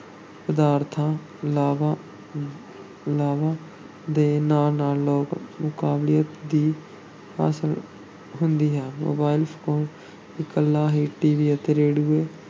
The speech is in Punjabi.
ਪਦਾਰਥਾਂ ਲਾਭਾਂ ਲਾਭਾਂ ਦੇ ਨਾਲ-ਨਾਲ ਲੋਕ ਮਕਬੂਲੀਅਤ ਦੀ ਹਾਸਲ ਹੁੰਦੀ ਹੈ mobile phone ਇਕੱਲਾ ਹੀ TV ਅਤੇ ਰੇਡੀਓ